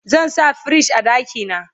zan sa firij a ɗakina